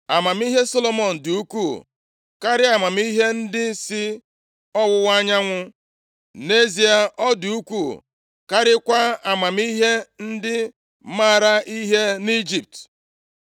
Amamihe Solomọn dị ukwuu karịa amamihe ndị si ọwụwa anyanwụ. + 4:30 Ebe a, na-ekwu banyere ebo ndị Arab bi na mpaghara ọwụwa anyanwụ Palestia. \+xt Jen 25:6; Nkp 6:3,33; 7:12; 8:10\+xt* Nʼezie, ọ dị ukwuu karịakwa amamihe ndị maara ihe nʼIjipt.